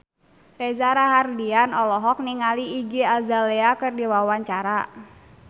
Reza Rahardian olohok ningali Iggy Azalea keur diwawancara